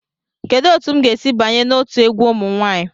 Kedu otu m ga-esi banye n'otu egwu ụmụ nwanyị?